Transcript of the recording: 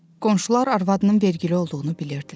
Qonşular arvadının vergili olduğunu bilirdilər.